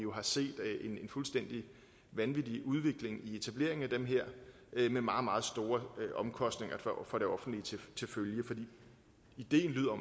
har set en fuldstændig vanvittig udvikling i etableringen af dem med meget meget store omkostninger for det offentlige til følge ideen lyder